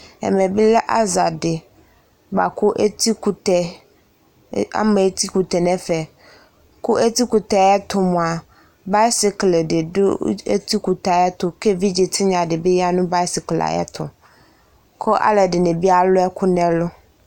Ɛmɛ bɩ lɛ aza dɩ bʋa kʋ eti kʋtɛ, ama eti kʋtɛ nʋ ɛfɛ, kʋ eti kʋtɛ yɛ ɛtʋ mʋa, bayɩskle dɩ dʋ eti kʋtɛ yɛ ɛtʋ kʋ evidze tɩnya bɩ ya nʋ bayɩskle yɛ ɛtʋ kʋ alʋ ɛdɩnɩ bɩ alʋ ɛkʋ nʋ ɛlʋ